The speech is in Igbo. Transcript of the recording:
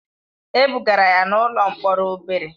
E bugara ya n'ụlọ mkpọrọ obere.